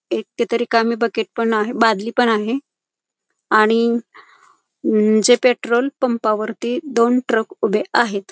एक येथे रिकामी बकेट पण आहे बादली पण आहे आणि जे पेट्रोल पंपा वरती दोन ट्रक उभे आहेत.